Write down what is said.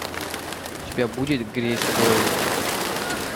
у тебя будет грейспойнт